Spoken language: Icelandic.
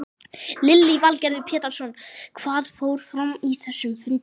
Lillý Valgerður Pétursdóttir: Hvað fór fram á þessum fundi?